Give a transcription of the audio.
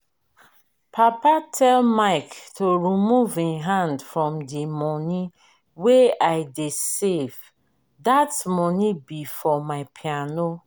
papa tell mike to remove im hand from the money wey i dey save dat money be for my piano